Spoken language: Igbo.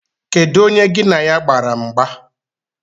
Kedụ onye gi na ya gbara mgba?